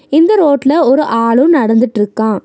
இந்த ரோட்ல ஒரு ஆளு நடந்துட்ருக்கா.